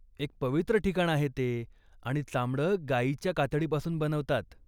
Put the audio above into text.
एक पवित्र ठिकाण आहे ते आणि चामडं गाईच्या कातडी पासून बनवतात.